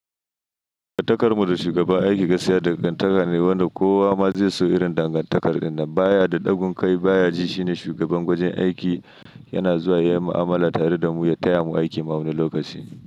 Dangantakar mu da shugaban aiki gaskiya dangantaka ne wanda kowa ma zai so irin dangantakar ɗin nan. Baya da ɗagun kai baya ji shine shugaban gwajin aiki. Yana zuwa ya yi mu'amala tare da mu ya taya mu aiki ma wani lokaci.